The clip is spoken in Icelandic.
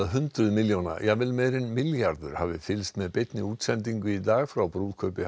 hundruð milljóna jafnvel meira en milljarður hafi fylgst með beinni útsendingu í dag frá brúðkaupi